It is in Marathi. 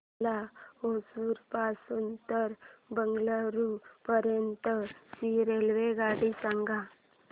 मला होसुर पासून तर बंगळुरू पर्यंत ची रेल्वेगाडी सांगा